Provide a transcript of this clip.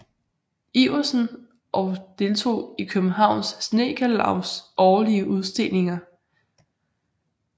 Iversen og deltog i Københavns Snedkerlavs årlige udstillinger